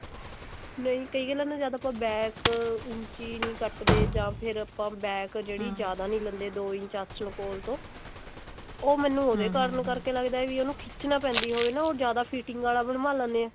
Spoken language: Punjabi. ਨਹੀਂ ਕਈਆਂ ਦਾ ਤਾਂ ਜਦ ਆਪਾਂ back ਊਂਚੀ ਨਹੀਂ ਕੱਟਦੇ ਜਾ ਫੇਰ ਆਪਾਂ back ਜਿਹੜੀ ਜਿਆਦਾ ਨਹੀਂ ਲੈਂਦੇ ਦੋ ਇੰਚ ਆਸਨ ਕੋਲ ਤੋਂ ਉਹ ਮੈਨੂੰ ਉਹਦੇ ਕਾਰਨ ਕਰਕੇ ਲੱਗਦਾ ਵੀ ਉਹਨੂੰ ਖਿਚਣਾ ਪੈਂਦਾ ਵੀ ਉਹ ਨਾ ਜਿਆਦਾ fitting ਵਾਲਾ ਬਣਾ ਲੇਂਦੇ ਹੈ